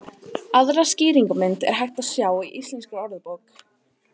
Aðra skýringarmynd er hægt að sjá í Íslenskri orðabók.